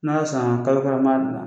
N'a sanna kalo kelen an b'a dilan.